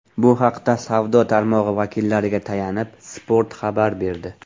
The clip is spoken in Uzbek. Bu haqda savdo tarmog‘i vakillariga tayanib, Spot xabar berdi .